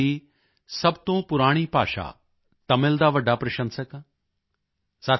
ਮੈਂ ਦੁਨੀਆਂ ਦੀ ਸਭ ਤੋਂ ਪੁਰਾਣੀ ਭਾਸ਼ਾ ਤਮਿਲ ਦਾ ਵੱਡਾ ਪ੍ਰਸ਼ੰਸਕ ਹਾਂ